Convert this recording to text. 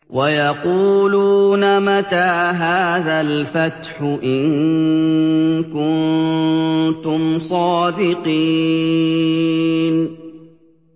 وَيَقُولُونَ مَتَىٰ هَٰذَا الْفَتْحُ إِن كُنتُمْ صَادِقِينَ